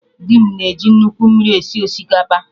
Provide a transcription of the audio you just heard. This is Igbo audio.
Dị m na eji nnukwu mmiri esi osikapa